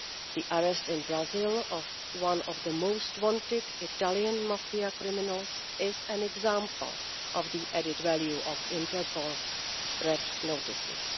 The arrest in Brazil of one of the most wanted Italian mafia criminals is an example of the added value of Interpol Red Notices.